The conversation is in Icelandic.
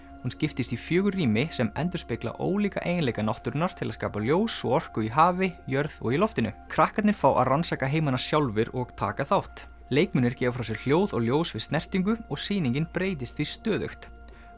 hún skiptist í fjögur rými sem endurspegla ólíka eiginleika náttúrunnar til að skapa ljós og orku í hafi jörð og í loftinu krakkarnir fá að rannsaka heimana sjálfir og taka þátt leikmunir gefa frá sér hljóð og ljós við snertingu og sýningin breytist því stöðugt